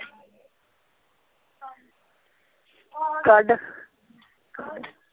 ਕੱਢ